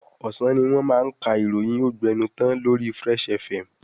Ọ̀sán ni wọ́n máa ka ìròyìn ógbẹnután lori Fresh FM.